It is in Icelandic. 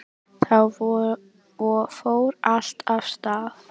Þá fór allt af stað